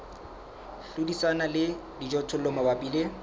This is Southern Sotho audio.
hlodisana le dijothollo mabapi le